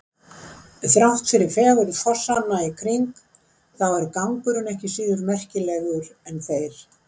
Þrátt fyrir fegurð fossanna í kring þá er gangurinn ekki síður merkilegur en þeir.